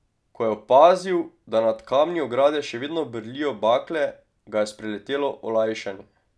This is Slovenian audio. Ko je opazil, da nad kamni ograde še vedno brlijo bakle, ga je spreletelo olajšanje.